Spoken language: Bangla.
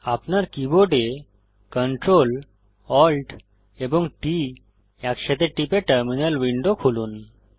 আপনার কীবোর্ড Ctrl Alt এবং T একসাথে টিপে টার্মিনাল উইন্ডো খুলুন